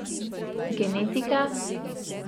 Genetika?